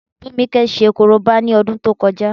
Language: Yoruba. Tómikẹ́ ṣe korobá ní ọdún tó kọjá